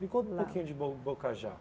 Me conta um pouquinho de Bo Bocajá.